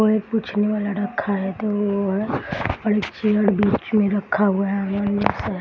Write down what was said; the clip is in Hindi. और एक पूछने वाला रखा है तो वो है और एक चेयर बीच में रखा हुआ है --